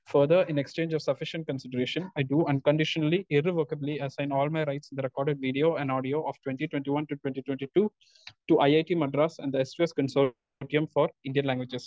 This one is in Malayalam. Speaker 2 further, in exchange of sufficient consideration, I do unconditionally irrevocably assign all my rights in the record video and audio of twenty twenty one to twenty twenty two to IIT Madras and the S two S consortium for Indian languages.